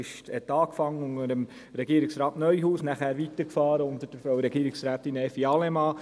Es begann unter Herrn Regierungsrat Neuhaus und ging weiter unter Frau Regierungsrätin Allemann.